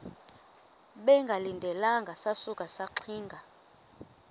bengalindelanga sasuka saxinga